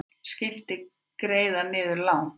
Skipti greiða niður lán